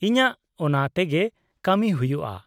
-ᱤᱧᱟᱹᱜ ᱚᱱᱟ ᱛᱮᱜᱮ ᱠᱟᱹᱢᱤ ᱦᱩᱭᱩᱜᱼᱟ ᱾